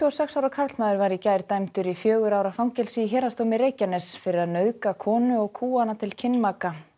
og sex ára karlmaður var í gær dæmdur í fjögurra ára fangelsi í Héraðsdómi Reykjaness fyrir að nauðga konu og kúga hana til kynmaka